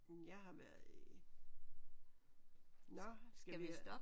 Jeg har været i nåh skal vi